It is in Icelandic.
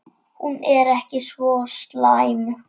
Hún er ekki svo slæm.